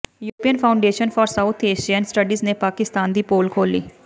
European foundation for south Asian studies ਨੇ ਪਾਕਿਸਤਾਨ ਦੀ ਪੋਲ ਖੋਲ੍ਹੀ